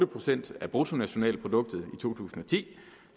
procent af bruttonationalproduktet i to tusind og ti